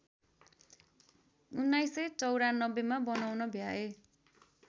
१९९४ मा बनाउन भ्याए